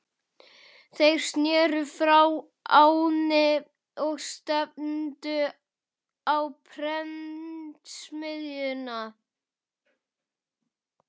Þeir sneru frá ánni og stefndu á prentsmiðjuna.